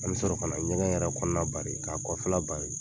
An bɛ sɔrɔ ka na ɲɛgɛn yɛrɛ kɔnɔna bari ka kɔfɛla bari.